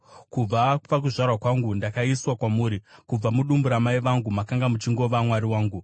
Kubva pakuzvarwa kwangu, ndakaiswa kwamuri; kubva mudumbu ramai vangu, makanga muchingova Mwari wangu.